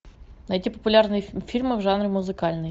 найти популярные фильмы в жанре музыкальный